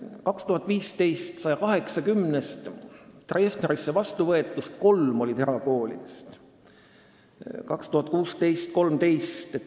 2015. aastal oli 180-st Treffnerisse vastuvõetust kolm pärit erakoolist, 2016. aastal oli neid 13.